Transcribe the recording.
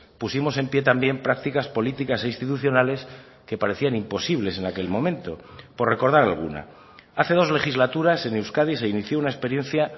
pusimos en pie también prácticas políticas e institucionales que parecían imposibles en aquel momento por recordar alguna hace dos legislaturas en euskadi se inició una experiencia